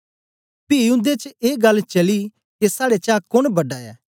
पी उन्दे च ए गल्ल चली के साड़े चा कोन बड़ा ऐ